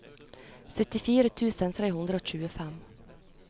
syttifire tusen tre hundre og tjuefem